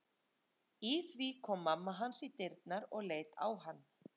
Í því kom mamma hans í dyrnar og leit á hann.